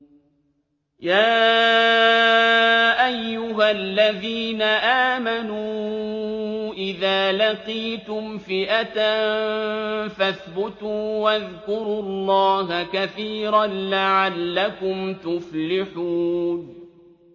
يَا أَيُّهَا الَّذِينَ آمَنُوا إِذَا لَقِيتُمْ فِئَةً فَاثْبُتُوا وَاذْكُرُوا اللَّهَ كَثِيرًا لَّعَلَّكُمْ تُفْلِحُونَ